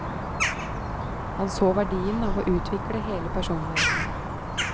Han så verdien av å utvikle hele personligheten.